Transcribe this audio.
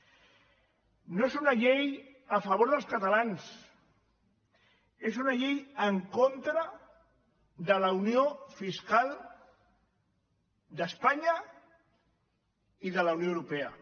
no és una llei a favor dels catalans és una llei en contra de la unió fiscal d’espanya i de la unió europea